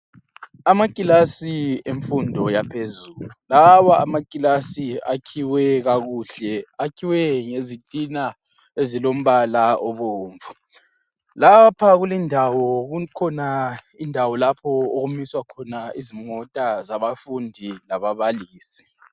Amakilasi emfundo yaphezulu lawa amakilasi akhiwe kakuhle akhiwe ngezitina ezilombala obomvu lapha kulindawo kukhona indawo lapho okumiswa khona izimota zabafundi lababalisi.